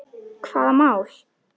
Hvaða mál?